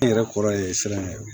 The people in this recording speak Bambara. N yɛrɛ kɔrɔ ye siran ɲɛ